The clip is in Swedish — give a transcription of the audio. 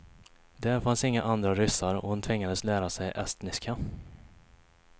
Där fanns inga andra ryssar och hon tvingades lära sig estniska.